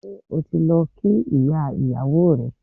Ṣé o ti lọ kí ìyá ìyàwó rẹ?